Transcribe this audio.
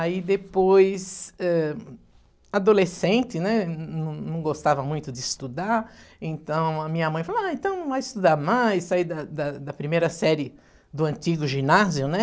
Aí depois, eh, adolescente, não não gostava muito de estudar, então a minha mãe falou, ah, então vai estudar mais, sair da da primeira série do antigo ginásio, né?